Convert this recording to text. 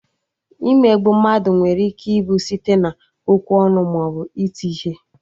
Imegbu mmadụ nwere ike ịbụ site na-okwu ọnụ maọbụ iti ihe